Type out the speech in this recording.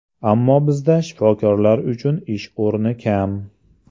Ammo bizda shifokorlar uchun ish o‘rni kam.